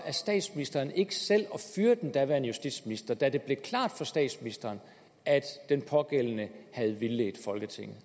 at statsministeren ikke selv fyrede den daværende justitsminister da det blev klart for statsministeren at den pågældende havde vildledt folketinget